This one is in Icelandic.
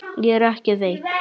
Ég er ekki veik.